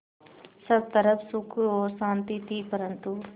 सब तरफ़ सुख और शांति थी परन्तु